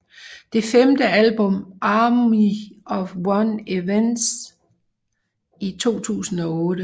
Det femte album Army Of One ventes i 2008